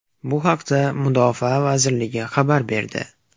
Bu haqda Mudofaa vazirligi xabar berdi .